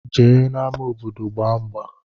Jee na ama obodo gba ngba.